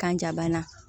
Kanja bana